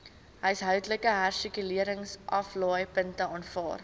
huishoudelike hersirkuleringsaflaaipunte aanvaar